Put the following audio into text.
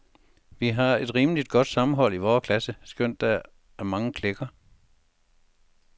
Vi har et rimeligt godt sammenhold i vores klasse skønt der er mange klikker.